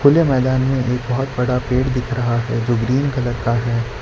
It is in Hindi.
खुले मैदान में एक बहोत बड़ा पेड़ दिख रहा है जो ग्रीन कलर का है।